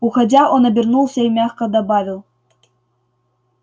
уходя он обернулся и мягко добавил